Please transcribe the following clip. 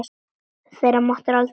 Þetta máttu aldrei gera aftur!